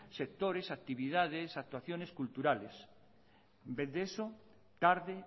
sectores actividades actuaciones culturales en vez de esto tarde